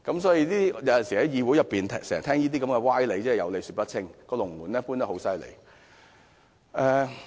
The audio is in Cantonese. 所以，在議會經常聽到這些歪理，真的是有理說不清，"龍門"經常移動。